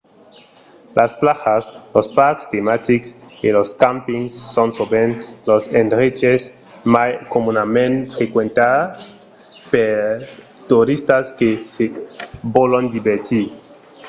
las plajas los parcs tematics e los campings son sovent los endreches mai comunament frequentats pels toristas que se vòlon divertir